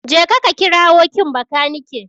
Jeka ka kirawo kin Bakanike.